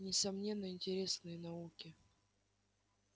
несомненно интересные науки